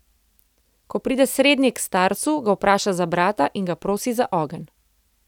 Ko pride srednji k starcu, ga vpraša za brata in ga prosi za ogenj.